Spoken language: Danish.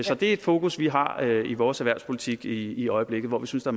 så det er et fokus vi har i vores erhvervspolitik i i øjeblikket hvor vi synes der